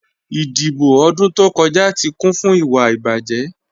Idíbò̀ odún tó kọja tí kún fún ìwà ìbájẹ́.